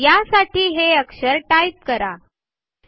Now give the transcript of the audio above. यासाठी हे अक्षर टाइप करणे आवश्यक आहे